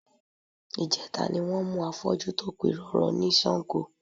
Ìjẹta ni wọ́n mú afọ́jú tó pirọrọ ní Sango